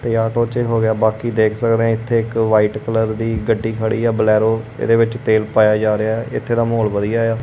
ਤੇ ਆਟੋ 'ਚ ਇਹ ਹੋ ਗਿਆ ਬਾਕੀ ਦੇਖ ਸਕਦੇ ਆਂ ਇੱਥੇ ਇੱਕ ਵਾਈਟ ਕਲਰ ਦੀ ਗੱਡੀ ਖੜੀ ਐ ਬਲੈਰੋ ਇਹਦੇ ਵਿੱਚ ਤੇਲ ਪਾਇਆ ਜਾ ਰਿਹਾ ਐ ਇੱਥੇ ਦਾ ਮਾਹੌਲ ਵਧੀਆ ਐ।